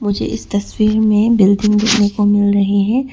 मुझे इस तस्वीर में बिल्डिंग देखने को मिल रही है।